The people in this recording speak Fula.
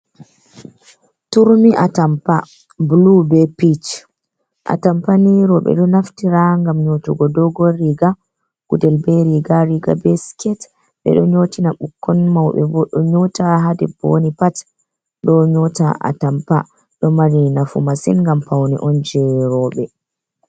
Turmi atampa bulu ɓe pich. Atampa ni roɓe ɗo naftira ngam nyotugo dogon riga, guɗel ɓe riga. Riga ɓe siket ɓe ɗo nyotina ɓukkon. Mauɓe ɓo ɗo nyota. Ha ɗeɓɓo woni pat ɗo nyota atampa. Ɗo mari nafu masin ngam pauni on je roɓe.